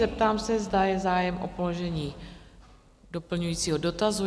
Zeptám se, zda je zájem o položení doplňujícího dotazu?